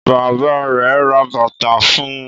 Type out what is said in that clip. Bàbá rẹ̀ ra bàtà fún un.